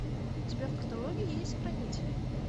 у тебя в каталоге есть хранители